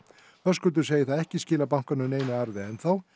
Höskuldur segir það ekki skila bankanum neinum arði ennþá